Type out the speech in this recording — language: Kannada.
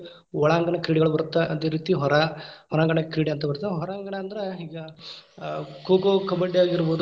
ಒಳಾಂಗಣ ಕ್ರೀಡೆಗಳ್ ಬರತ್ತ ಅದೇ ರೀತಿ ಹೊರಾ~ ಹೊರಾಂಗಣ ಕ್ರೀಡೆ ಅಂತ ಬರತ್ತ. ಹೊರಾಂಗಣ ಅಂದ್ರ ಈಗಾ ಆ ಕೋ ಕೋ, ಕಬಡ್ಡಿ ಆಗಿರ್ಬೋದು ,